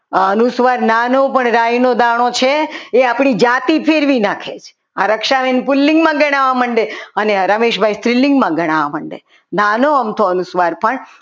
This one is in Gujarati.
અનુસ્વાર નાનો પણ રાઈનો દાણો છે એ આપણી જાતિ ફેરવી નાખે છે રક્ષાબેન પુલિંગમાં ગણાવવા માંડે અને રમેશભાઈ સ્ત્રીલિંગમાં ગણાવવા માંડે નાનો અમથો અનુસ્વાર પણ